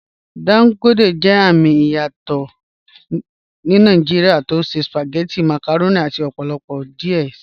Dangote jẹ àmì ìyàsọ̀tọ̀ Nàìjíríà tó ṣẹ̀ spagẹ̀tí, màkàrọ̀nì àti ọ̀pọ̀lọpọ̀ díẹ̀ sí."